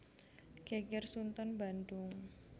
Geger Sunten Bandung